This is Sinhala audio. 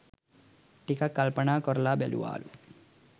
ටිකක් කල්පනා කොරලා බැලුවාලු